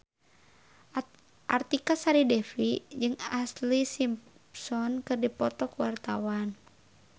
Artika Sari Devi jeung Ashlee Simpson keur dipoto ku wartawan